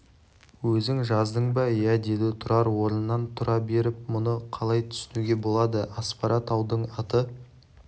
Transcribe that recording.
өзің жаздың ба иә деді тұрар орынан тұра беріп мұны қалай түсінуге болады аспара таудың аты